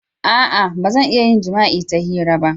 A'a! Ba zan iya yin jima'i ta hira ba.